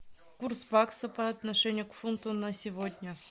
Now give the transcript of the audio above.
курс бакса по отношению к фунту на сегодня